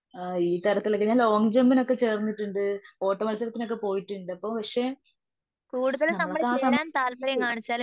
ആ ഈ താരത്തിലൊക്കെ ഞാൻ ലോങ്ങ്ജമ്പിനൊക്കെ ചേർന്നിട്ടുണ്ട്. ഓട്ട മത്സരത്തിനൊക്കെ പോയിട്ടുണ്ട് അപ്പോ പക്ഷേ നമ്മളൊക്കെ ആ സമയത്തു